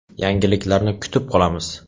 Yangiliklarni kutib qolamiz!